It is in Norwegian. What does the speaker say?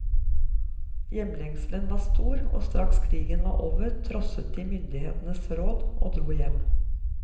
Hjemlengselen var stor, og straks krigen var over, trosset de myndighetenes råd og dro hjem.